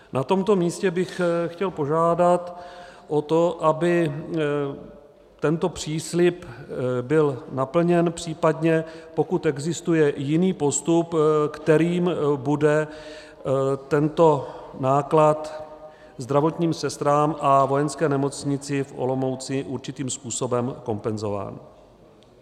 Na tomto místě bych chtěl požádat o to, aby tento příslib byl naplněn, případně pokud existuje jiný postup, kterým bude tento náklad zdravotním sestrám a Vojenské nemocnici v Olomouci určitým způsobem kompenzován.